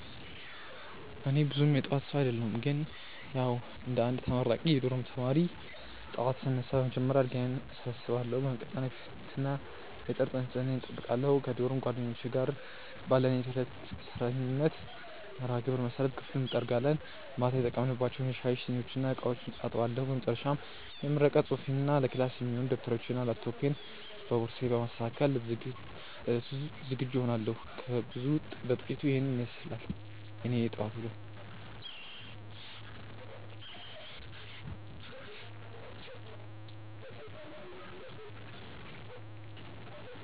እኔ ብዙም የጠዋት ሰው አደለሁም ግን ያዉ እንደ አንድ ተመራቂ የዶርም ተማሪ፣ ጠዋት ስነሳ በመጀመሪያ አልጋዬን እሰበስባለሁ። በመቀጠል የፊትና የጥርስ ንጽህናዬን እጠብቃለሁ። ከዶርም ጓደኞቼ ጋር ባለን የዕለት ተረኛነት መርሃግብር መሰረት ክፍሉን እጠርጋለሁ፤ ማታ የተጠቀምንባቸውን የሻይ ሲኒዎችና ዕቃዎችም አጥባለሁ። በመጨረሻም የምረቃ ፅሁፌንና ለክላስ የሚሆኑ ደብተሮቼንና ላፕቶፔን በቦርሳዬ በማስተካከል ለዕለቱ ዝግጁ እሆናለሁ። ከብዙ በጥቂቱ ኢሄን ይመስላል የኔ የጠዋት ዉሎ።